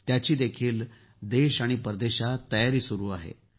त्याचीही देश आणि परदेशातही तयारी सुरू आहे